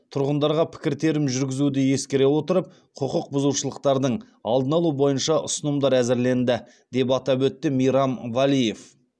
тұрғындарға пікіртерім жүргізуді ескере отырып құқық бұзушылықтардың алдын алу бойынша ұсынымдар әзірленді деп атап өтті мейрам валеев